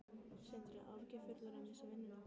Sindri: Áhyggjufullur að missa vinnuna?